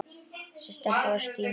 Þessi stelpa var Stína.